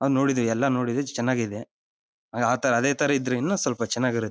ಅವನು ನೋಡಿದೀವಿ ಎಲ್ಲಾನು ನೋಡಿದೀವಿ ಚೆನ್ನಾಗಿ ಇದೆ ಆ ಅತರ ಅದೇ ಇದ್ರೆ ಇನ್ನು ಸ್ವಲ್ಪ ಚೆನ್ನಗಿಇರುತ್ತೆ.